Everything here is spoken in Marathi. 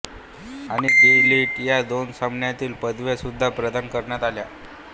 आणि डी लिट या दोन सन्माननीय पदव्या सुद्धा प्रदान करण्यात आल्या